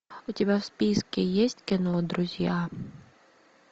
у тебя в списке есть кино друзья